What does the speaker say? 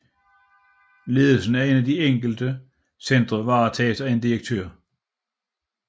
Ledelsen af de enkelte centre varetages af en direktør